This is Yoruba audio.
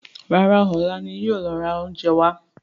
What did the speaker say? Rárá, ọlá ni yìí ó lọ ra oúnjẹ wá.